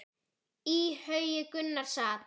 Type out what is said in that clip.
Í haugi Gunnar sat.